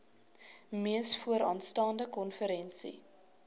mees vooraanstaande konferensie